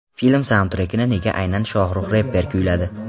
Film saundtrekini nega aynan Shohrux reper kuyladi?